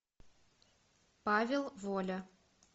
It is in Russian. павел воля